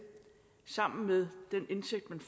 sammen med den indtægt